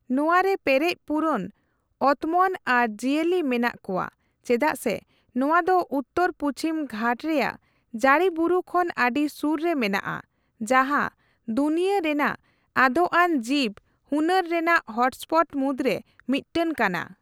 ᱱᱚᱣᱟ ᱨᱮ ᱯᱮᱨᱮᱡ ᱯᱩᱨᱚᱱ ᱚᱛᱢᱚᱱ ᱟᱨ ᱡᱤᱭᱟᱹᱞᱤ ᱢᱮᱱᱟᱜ ᱠᱚᱣᱟ ᱪᱮᱫᱟᱜ ᱥᱮ ᱱᱚᱣᱟ ᱫᱚ ᱩᱛᱛᱚᱨ ᱯᱩᱪᱷᱤᱢ ᱜᱷᱟᱴ ᱨᱮᱭᱟᱜ ᱡᱟᱹᱲᱤᱵᱩᱨᱩ ᱠᱷᱚᱱ ᱟᱹᱰᱤ ᱥᱩᱨ ᱨᱮ ᱢᱮᱱᱟᱜᱼᱟ, ᱡᱟᱸᱦᱟ ᱫᱩᱱᱤᱭᱟᱹ ᱨᱮᱱᱟᱜ ᱟᱫᱼᱟᱱ ᱡᱤᱵᱽ ᱦᱩᱱᱟᱹᱨ ᱨᱮᱱᱟᱜ ᱦᱚᱴᱥᱯᱚᱴ ᱢᱩᱫᱽᱨᱮ ᱢᱤᱫ ᱴᱟᱝ ᱠᱟᱱᱟ ᱾